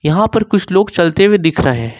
यहां पर कुछ लोग चलते हुए दिख रहें हैं।